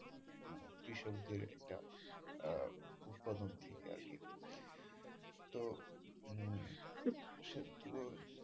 কৃষক দের একটা আহ উৎপাদন থেকে আরকি তো উম